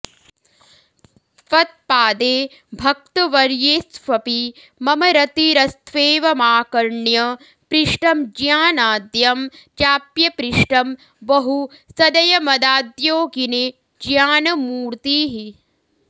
त्वत्पादे भक्तवर्येष्वपि मम रतिरस्त्वेवमाकर्ण्य पृष्टं ज्ञानाद्यं चाप्यपृष्टं बहु सदयमदाद्योगिने ज्ञानमूर्तिः